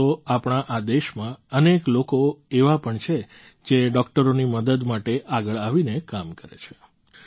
આમ તો આપણા આ દેશમાં અનેક લોકો એવા પણ છે જે ડૉક્ટરોની મદદ માટે આગળ આવીને કામ કરે છે